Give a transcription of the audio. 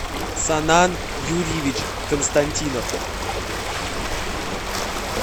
санан юрьевич константинов